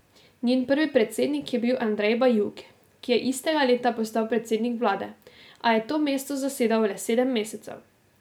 Njen prvi predsednik je bil Andrej Bajuk, ki je istega leta postal predsednik vlade, a je to mesto zasedal le sedem mesecev.